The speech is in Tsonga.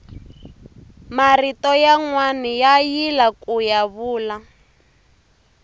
marito yanwani ya yila kuya vula